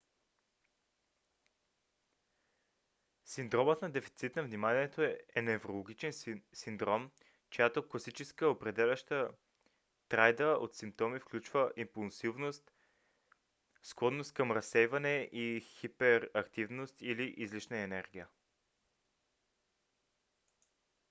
синдромът на дефицит на вниманието е неврологичен синдром чиято класическа определяща триада от симптоми включва импулсивност склонност към разсейване и хиперактивност или излишна енергия